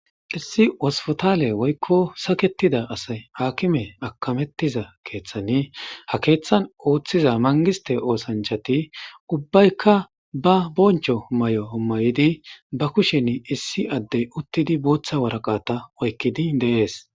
Issi hosipitale woyikko saketida asayi akimeti akametizza keeththani ha keeththan ooththiza manigisite ooththanichchati ubbatikka ba bonicho mayo mayid ba kusheni issi addey uttidi botha waraqata oyikidi deesi